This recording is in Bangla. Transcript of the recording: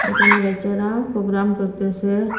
এখানে বাইচ্চারা প্রোগ্রাম করতেসে।